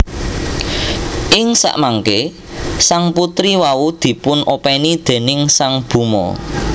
Ing samangké sang putri wau dipun opèni déning sang Bhoma